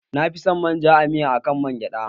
Nafi san manja a miya na akan man gyaɗa